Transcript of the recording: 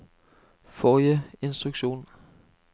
forrige instruksjon